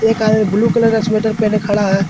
एक आदमी blue colour का स्वेटर पहने खड़ा है।